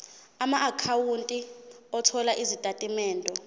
amaakhawunti othola izitatimende